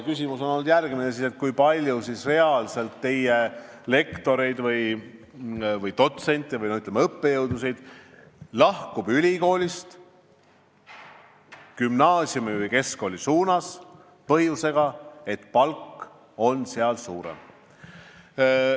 Küsimus on olnud järgmine: kui palju reaalselt teie lektoreid, dotsente või, ütleme, õppejõudusid lahkub ülikoolist gümnaasiumi või keskkooli sellel põhjusel, et palk on seal suurem?